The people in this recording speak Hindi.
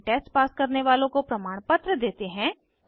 ऑनलाइन टेस्ट पास करने वालों को प्रमाणपत्र देते हैं